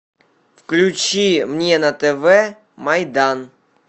включи мне на тв майдан